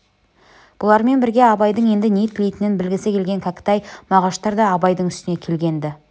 бұлармен бірге абайдың енді не тілейтінін білгісі келген кәкітай мағаштар да абайдың үстіне келген-ді